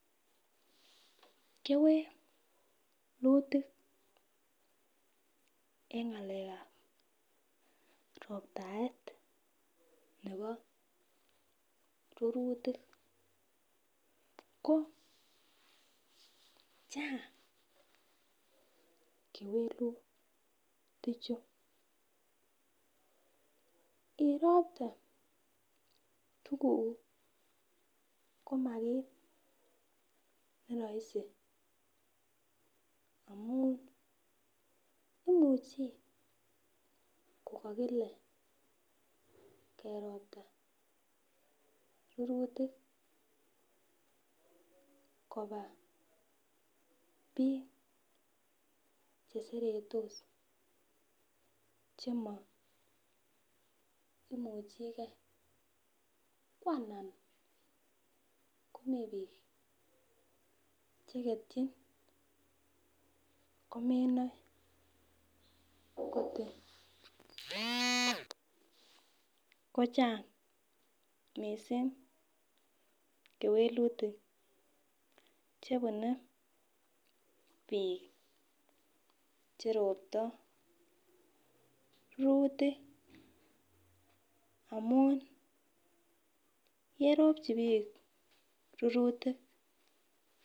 Kewelutik en ng'alekab roptaet nebo rurutik ko chang kewelutichu iroptee komakit nerahisi, amun imuchi kokokile keropta rurutik kobaa biik cheserotos chemoimuchi kee ko anan komii biik cheketyin komenoe kochang missing kewelutik chebunee biik cheroptoo rurutik, amun yeropchi biik rurutik.